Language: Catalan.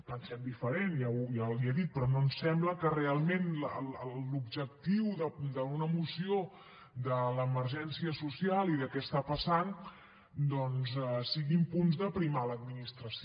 pensem diferent ja li ho he dit però no ens sembla que realment l’objectiu d’una moció de l’emergència social i de què està passant doncs siguin punts d’aprimar l’administració